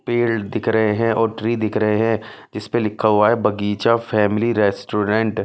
पेल्ड दिख रहे हैं और ट्री दिख रहे हैं जिस पे लिखा हुआ है बगीचा फैमिली रेस्टोरेंट .